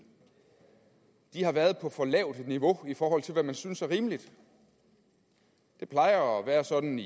har været på for lavt et niveau i forhold til hvad man synes er rimeligt det plejer at være sådan